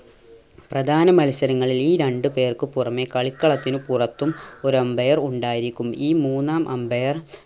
പ്രധാന മത്സരങ്ങളിൽ ഈ രണ്ട് പേർക്ക് പുറമെ കളിക്കളത്തിന് പുറത്തും ഒരു umpire ഉണ്ടായിരിക്കും ഈ മൂന്നാം umpire